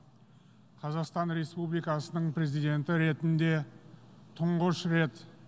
қазақстан республикасының президенті ретінде тұңғыш рет